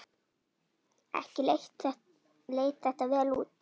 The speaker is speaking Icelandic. Ekki leit þetta vel út.